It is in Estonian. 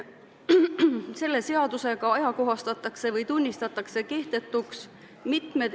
Selle seadusega ajakohastatakse või tunnistatakse kehtetuks mitmed ...